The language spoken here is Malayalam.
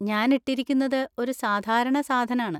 ഞാൻ ഇട്ടിരിക്കുന്നത് ഒരു സാധാരണ സാധനാണ്.